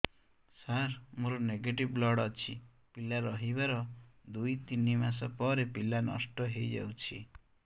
ସାର ମୋର negative blood ଅଛି ପିଲା ରହିବାର ଦୁଇ ତିନି ମାସ ପରେ ପିଲା ନଷ୍ଟ ହେଇ ଯାଉଛି